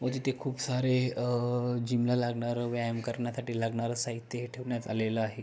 व तिथे खूप सारे अ जीम ला लागणार व्यायामा साठी लागणार साहित्य ही ठेवण्यात आल आहे.